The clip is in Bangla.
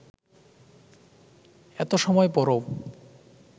এত সময় পরও